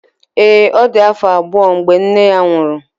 ee, ọ dị afọ abụọ mgbe nne ya nwụrụ